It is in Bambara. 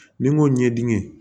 Ni n ko ɲɛdɛ